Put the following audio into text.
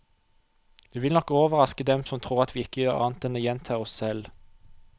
Vi vil nok overraske dem som tror at vi ikke gjør annet enn å gjenta oss selv.